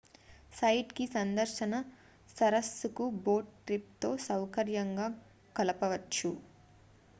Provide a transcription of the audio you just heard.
site కి సందర్శన సరస్సుకు బోట్ ట్రిప్ తో సౌకర్యంగా కలపవచ్చు